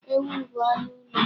Ewu bụ anụ ụlọ.